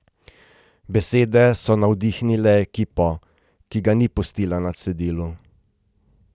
Besede so navdihnile ekipo, ki ga ni pustila na cedilu.